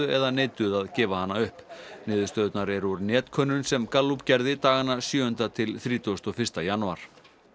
eða neituðu að gefa hana upp niðurstöðurnar eru úr netkönnun sem Gallup gerði dagana sjöunda til þrítugasta og fyrsta janúar